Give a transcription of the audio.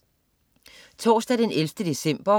Torsdag den 11. december